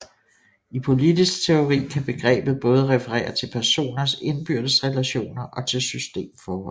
I politisk teori kan begrebet både referere til personers indbyrdes relationer og til systemforhold